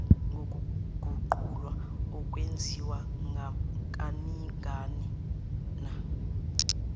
ngokuguqulwa okwenziwa kaningana